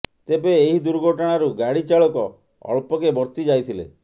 ତେବେ ଏହି ଦୁର୍ଘଟଣାରୁ ଗାଡ଼ି ଚାଳକ ଅଳ୍ପକେ ବର୍ତ୍ତି ଯାଇଥିଲେ